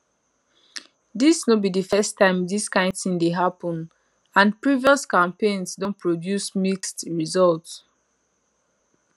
dis no be di first time dis kain tin dey happun and previous campaigns don produce mixed results